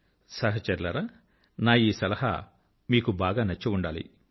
సహచరులారా నా ఈ సలహా మీకు బాగా నచ్చి ఉండాలి